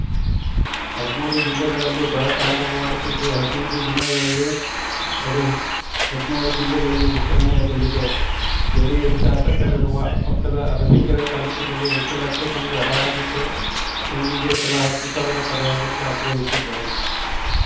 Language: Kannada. ಹದಿಮೂರು ಜಿಲ್ಲೆಗಳಲ್ಲಿ ಬರ ತಾಂಡವವಾಡುತ್ತಿದ್ದು ಹದಿನೈದು ದಿನಗಳಲ್ಲಿ ಅದು ಹದಿನೇಳು ಜಿಲ್ಲೆಗಳಿಗ ವಿಸ್ತರಣೆಯಾಗಲಿದೆ ಜೆಡಿಎಸ್‌ ಶಾಸಕರಿರುವ ಪಕ್ಕದ ಅರಸೀಕೆರೆ ತಾಲೂಕಿಲ್ಲಿ ಎಂಟು ಲಕ್ಷ ತೆಂಗು ಹಾಳಾಗಿದ್ದು ತೆಂಗಿಗೆ ತಲಾ ಹತ್ತು ಸಾವಿರ ಪರಿಹಾರಕ್ಕೆ ಆಗ್ರಹಿಸಿದ್ದರು